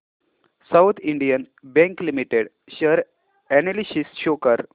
south Indian Bank Limited share analysis show कर